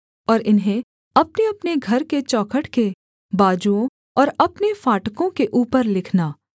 और इन्हें अपनेअपने घर के चौखट के बाजुओं और अपने फाटकों के ऊपर लिखना